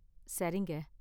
சரிங்க